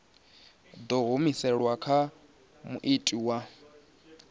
ḓo humiselwa kha muiti wa